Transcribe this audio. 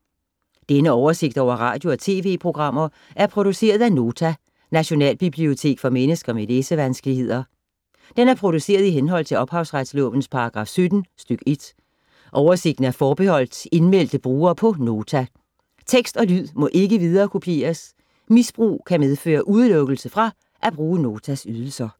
Denne oversigt over radio og TV-programmer er produceret af Nota, Nationalbibliotek for mennesker med læsevanskeligheder. Den er produceret i henhold til ophavsretslovens paragraf 17 stk. 1. Oversigten er forbeholdt indmeldte brugere på Nota. Tekst og lyd må ikke viderekopieres. Misbrug kan medføre udelukkelse fra at bruge Notas ydelser.